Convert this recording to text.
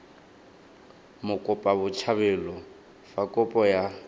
mokopa botshabelo fa kopo ya